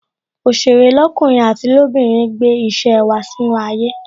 Òsèré lọkunrin àti lobinrin gbé ìṣe wá sínú ayé